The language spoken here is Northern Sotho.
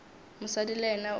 mosadi le yena o ile